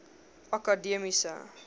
akademiese